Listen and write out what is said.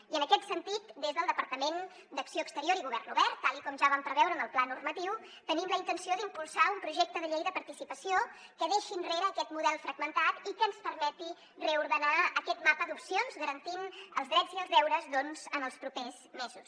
i en aquest sentit des del departament d’acció exterior i govern obert tal com ja vam preveure en el pla normatiu tenim la intenció d’impulsar un projecte de llei de participació que deixi enrere aquest model fragmentat i que ens permeti reordenar aquest mapa d’opcions garantint els drets i els deures doncs en els propers mesos